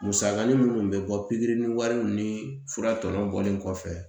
Musakanin minnu bɛ bɔ pikiri ni wariw ni fura tɔw bɔlen kɔfɛ